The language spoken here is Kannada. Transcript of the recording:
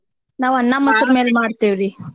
ನಾವ್ ಅನ್ನ, ಮಸ್ರ್ ಮೇಲ್ ಮಾಡ್ತಿವ್ರೀ.